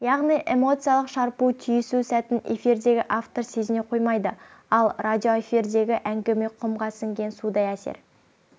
яғни эмоциялық шарпу түйісу сәтін эфирдегі автор сезіне қоймайды ал радиоэфирдегі әңгіме құмға сіңген судай әсер